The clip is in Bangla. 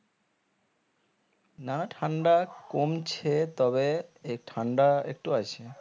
না ঠান্ডা কমছে তবে এ ঠান্ডা একটু আছে